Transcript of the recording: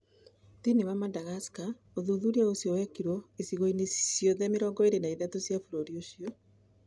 Thĩinĩ wa Madagascar, ũthuthuria ũcio wekirũo icigo-inĩ ciothe 23 cia bũrũri ũcio.